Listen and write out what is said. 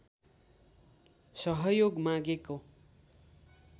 सहयोग मागेको